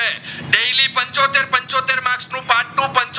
પાટુપન